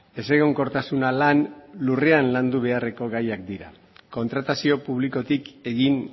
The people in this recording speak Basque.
ezegonkortasuna lan lurrean landu beharreko gaiak dira kontratazio publikotik egin